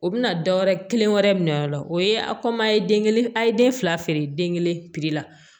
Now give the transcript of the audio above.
O bɛna dɔw wɛrɛ kelen wɛrɛ minɛ o la o ye a ye den kelen a ye den fila feere den kelen piri la